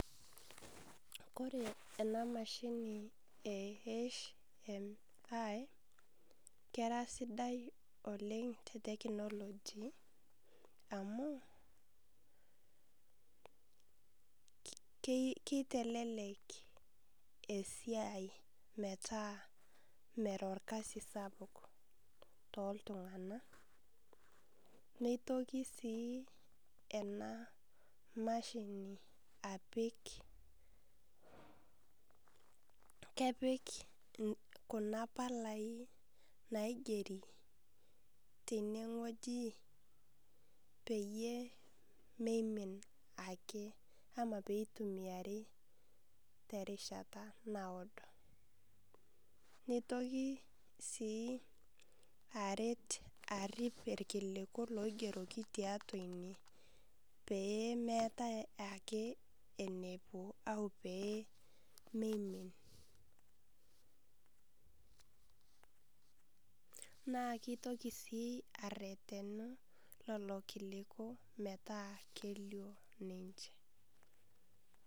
Kore enamashini e HMI, kera sidai oleng te technology amu, kitelelek esiai metaa mera orkasi sapuk toltung'anak, nitoki enamashini apik, kepik kuna palai naigeri teneng'oji peyie meimin ake, ama peitumiari terishata naado. Nitoki si aret arrip irkiliku loigeroki tiatua ine, peemetai ake enepuo, au pemeimin. Naa kitoki si arretenu lolo kiliku metaa kelio ninche.